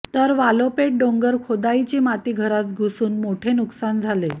तर वालोपेत डोंगर खोदाईची माती घरात घुसून मोठे नुकसान झाले